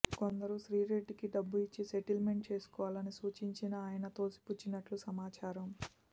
కొందరు శ్రీరెడ్డికి డబ్బు ఇచ్చి సెటిల్మెంట్ చేసుకోవాలని సూచించినా ఆయన తోసిపుచ్చినట్లు సమాచారం